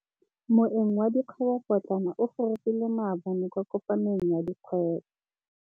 Moêng wa dikgwêbô pôtlana o gorogile maabane kwa kopanong ya dikgwêbô.